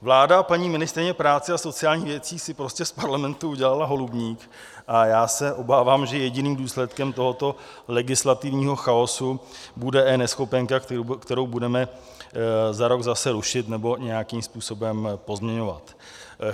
Vláda a paní ministryně práce a sociálních věcí si prostě z Parlamentu udělala holubník a já se obávám, že jediným důsledkem tohoto legislativního chaosu bude eNeschopenka, kterou budeme za rok zase rušit nebo nějakým způsobem pozměňovat.